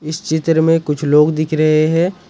इस चित्र में कुछ लोग दिख रहे हैं ।